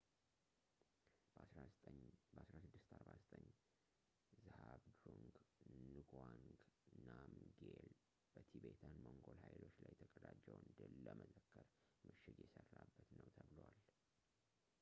በ 1649 ዝሃብድሩንግ ንጋዋንግ ናምግዬል በቲቤታን-ሞንጎል ኃይሎች ላይ የተቀዳጀውን ድል ለመዘከር ምሽግ የሰራበት ነው ተብሏል